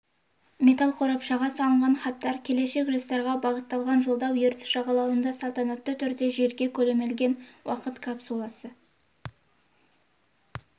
металл қорапшаға салынған хаттар келешек жастарға бағытталған жолдау ертіс жағалауында салтанатты түрде жерге көмілген уақыт капсуласы